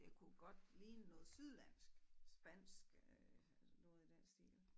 Det kunne godt ligne noget sydlandsk spansk øh noget i den stil